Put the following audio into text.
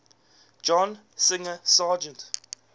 john singer sargent